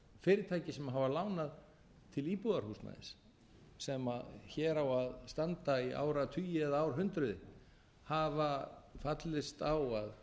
hafa lánað til íbúðarhúsnæðis sem hér á að standa í áratugi eða árhundruð hafa fallist á að